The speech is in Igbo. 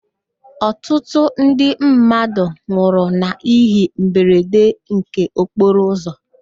Ọtụtụ ndị mmadụ nwụrụ n'íhé mberede nke okporo ụzọ.